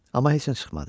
Amma heç nə çıxmadı.